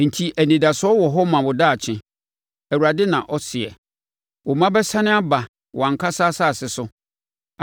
Enti anidasoɔ wɔ hɔ ma wo daakye.” Awurade na ɔseɛ. Wo mma bɛsane aba wɔn ankasa asase so.